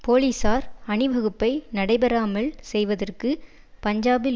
போலீசார் அணிவகுப்பை நடைபெறாமல் செய்வதற்கு பஞ்சாபில்